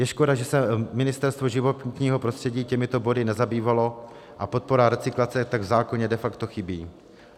Je škoda, že se Ministerstvo životního prostředí těmito body nezabývalo a podpora recyklace tak v zákoně de facto chybí.